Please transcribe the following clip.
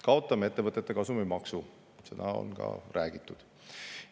Kaotame ettevõtete kasumimaksu, seda on ka räägitud.